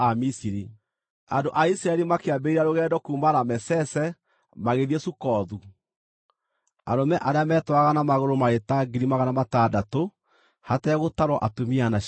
Andũ a Isiraeli makĩambĩrĩria rũgendo kuuma Ramesese magĩthiĩ Sukothu. Arũme arĩa metwaraga na magũrũ maarĩ ta 600,000 hategũtarwo atumia na ciana.